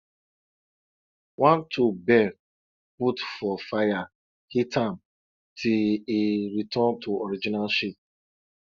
one tool bend put for fire hit am till e return to original shape